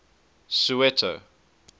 soweto